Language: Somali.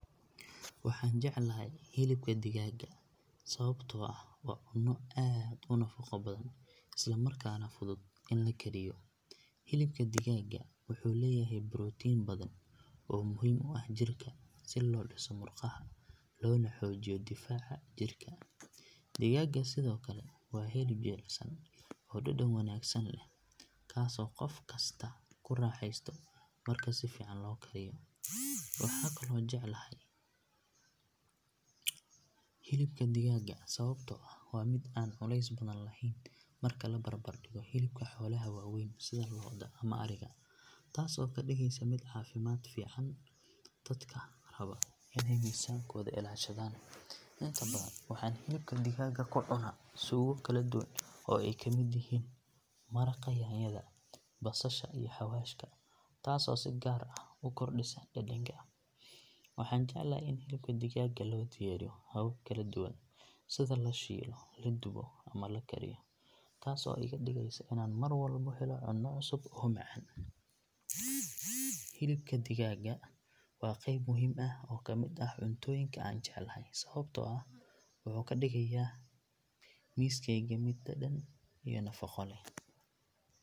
Waxaan jeclahay hilibka digaaga sababtoo ah waa cunno aad u nafaqo badan isla markaana fudud in la kariyo. Hilibka digaaga wuxuu leeyahay borotiin badan oo muhiim u ah jirka si loo dhiso murqaha loona xoojiyo difaaca jirka. Digaaga sidoo kale waa hilib jilicsan oo dhadhan wanaagsan leh kaas oo qof kasta ku raaxaysto marka si fiican loo kariyo. Waxaan kaloo jeclahay hilibka digaaga sababtoo ah waa mid aan culays badan lahayn marka la barbardhigo hilibka xoolaha waaweyn sida lo’da ama adhiga taas oo ka dhigaysa mid caafimaad u fiican dadka raba inay miisaankooda ilaashadaan. Inta badan waxaan hilibka digaaga ku cunaa suugo kala duwan oo ay ka mid yihiin maraqa yaanyada, basasha iyo xawaashka taasoo si gaar ah u kordhisa dhadhanka. Waxaan jeclahay in hilibka digaaga loo diyaariyo habab kala duwan sida la shiilo, la dubo ama la kariyo taas oo iga dhigaysa inaan mar walba helo cunno cusub oo macaan. Hilibka digaaga waa qayb muhiim ah oo ka mid ah cuntooyinka aan jeclahay sababtoo ah wuxuu ka dhigayaa miiskayga mid dhadhan iyo nafaqo leh.